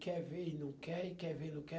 Quer ver e não quer, e quer ver e não quer.